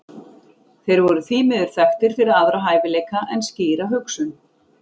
Þeir voru því miður þekktir fyrir aðra hæfileika en skýra hugsun.